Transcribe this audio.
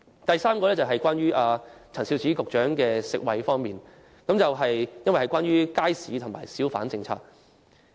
第四，這項原則與陳肇始局長負責的食衞範疇有關，因為有關街市和小販政策。